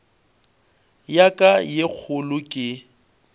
ya ka ye kgolo ke